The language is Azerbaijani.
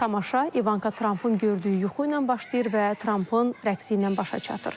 Tamaşa İvanka Trampın gördüyü yuxu ilə başlayır və Trampın rəqsi ilə başa çatır.